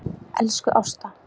Elsku Ásta.